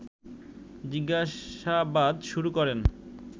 জিজ্ঞাসাবাদ শুরু করেন